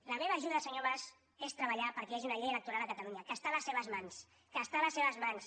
la meva ajuda senyor mas és treballar perquè hi hagi una llei electoral a catalunya que és a les seves mans que és a les seves mans